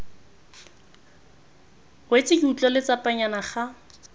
wetse ke utlwa letsapanyana ga